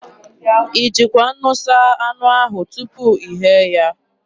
I jikwa nnu saa anụ ahụ tupu ị ghee ya?